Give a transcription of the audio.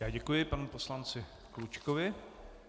Já děkuji panu poslanci Klučkovi.